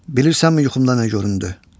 bilirsənmi yuxumda nə göründü?